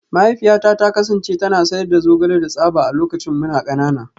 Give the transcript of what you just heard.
Mahaifiyata ta kasance tana sayar da zogale da tsaba a lokacin muna kanana